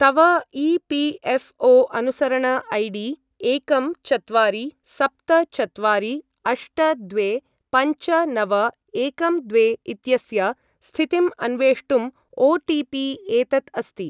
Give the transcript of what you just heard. तव ई.पी.एफ़्.ओ.अनुसरण I D एकं चत्वारि सप्त चत्वारि अष्ट द्वे पञ्च नव एकं द्वे इत्यस्य स्थितिम् अन्वेष्टुम् ओटिपि एतत् अस्ति।